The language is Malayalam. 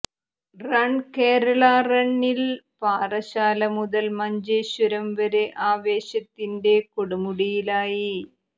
റൺ കേരളാ റണ്ണിൽ പാറശാല മുതൽ മഞ്ചേശ്വരം വരെ ആവേശത്തിന്റെ കൊടുമുടിയിലായി